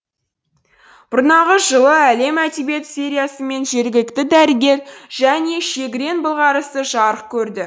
бұрнағы жылы әлем әдебиеті сериясымен жергілікті дәрігер және шегірен былғарысы жарық көрді